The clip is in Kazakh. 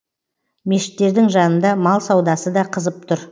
мешіттірдің жанында мал саудасы да қызып тұр